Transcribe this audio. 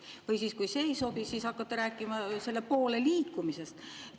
Või kui see ei sobi, siis hakkate rääkima selle poole liikumisest.